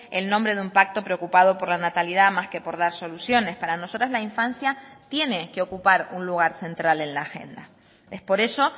el nombre de un pacto preocupado por la natalidad más que por dar soluciones para nosotras la infancia tiene que ocupar un lugar central en la agenda es por eso